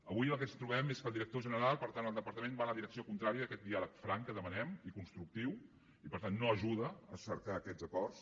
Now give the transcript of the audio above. avui el que ens trobem és que el director general per tant el departament va en la direcció contrària d’aquest diàleg franc que demanem i constructiu i per tant no ajuda a cercar aquests acords